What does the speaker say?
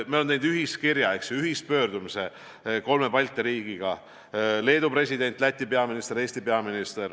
Me oleme teinud ühispöördumise kolme Balti riigiga .